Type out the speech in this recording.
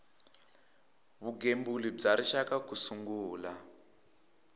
vugembuli bya rixaka ku sungula